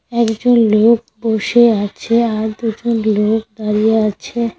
একজন লোক বসে আছে আর দুজন লোক দাঁড়িয়ে আছে।